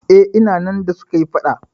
Eh, ina nan da suka yi faɗa.